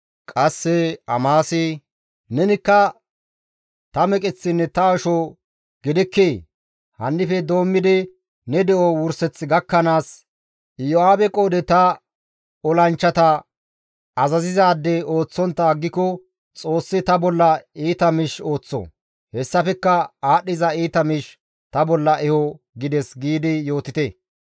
«Qasse Amasi, ‹Nenikka ta meqeththinne ta asho gidikkii? Hannife doommidi ne de7o wurseth gakkanaas Iyo7aabe qoodhe ta olanchchata azazizaade ooththontta aggiko Xoossi ta bolla iita miish ooththo; hessafekka aadhdhiza iita miish ta bolla eho› gides» giidi yootite.